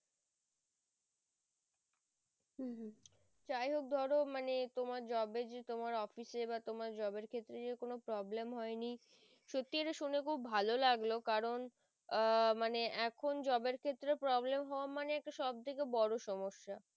যাই হোক ধরো মানে তোমার job যে তোমার office এ বা তোমার job এর ক্ষেত্রে যে কোনো problem হয়নি সত্যি এটা শুনে খুব ভালো লাগলো কারণ আহ মানে এখন job এর ক্ষেত্রে problem হওয়া মানে একটা সব থেকে বোরো সমস্যা